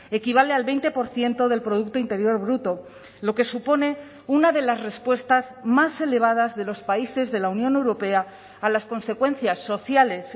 equivale al veinte por ciento del producto interior bruto lo que supone una de las respuestas más elevadas de los países de la unión europea a las consecuencias sociales